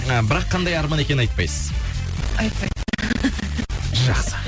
ы бірақ қандай арман екенін айтпайсыз айтпаймын жақсы